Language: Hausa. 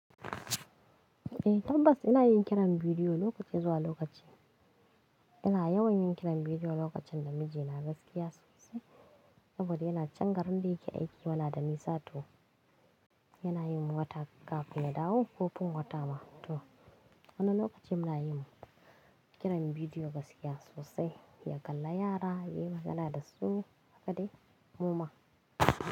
Eh tabbas ina yin kiran bidiyo lokaci zuwa lokaci. Ina yawan yin kiran bidiyo lokacin da miji na gaskiya sosai saboda yana can garin da yake aiki, yana da nisa to. Yana yin wata kafin ya dawo ko fin wata ma to, Wani lokaci muna yin kiran bidiyo gaskiya sosai, ya kalla yara, ya yi magana da su, haka dai muma.